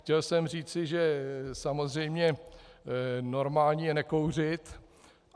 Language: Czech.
Chtěl jsem říci, že samozřejmě normální je nekouřit.